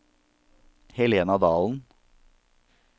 Helena Dalen